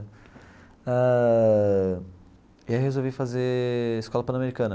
Ah e aí eu resolvi fazer escola Panamericana.